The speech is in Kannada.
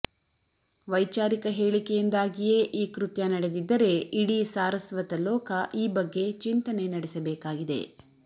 ವೈಚಾರಿಕ ಹೇಳಿಕೆಯಿಂದಾಗಿಯೇ ಈ ಕೃತ್ಯ ನಡೆದಿದ್ದರೆ ಇಡೀ ಸಾರಸ್ವತ ಲೋಕ ಈ ಬಗ್ಗೆ ಚಿಂತನೆ ನಡೆಸಬೇಕಾಗಿದೆ